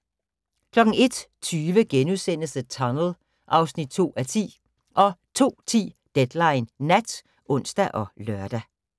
01:20: The Tunnel (2:10)* 02:10: Deadline Nat (ons og lør)